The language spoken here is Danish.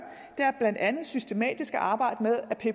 er blandt andet systematisk at arbejde